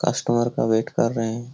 Customer का wait कर रहे हैं।